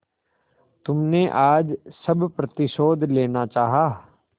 तुमने आज सब प्रतिशोध लेना चाहा